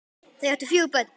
Þau áttu fjögur börn